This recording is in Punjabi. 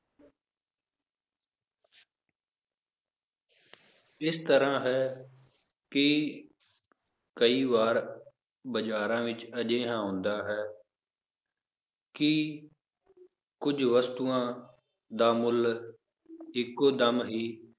ਇਸ ਤਰ੍ਹਾਂ ਹੈ ਕਿ ਕਈ ਵਾਰ ਬਾਜ਼ਾਰਾਂ ਵਿੱਚ ਅਜਿਹਾ ਹੁੰਦਾ ਹੈ ਕਿ ਕੁੱਝ ਵਸਤੂਆਂ ਦਾ ਮੁੱਲ ਇੱਕੋ ਦਮ ਹੀ